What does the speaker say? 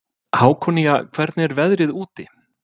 Hákonía, hvernig er veðrið úti?